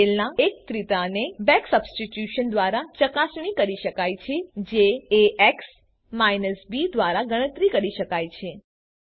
ઉકેલના એકત્રિતાને back substitution દ્વારા ચકાસણી કરી શકાય છે જે ax બી દ્વારા ગણતરી કરી શકાય છે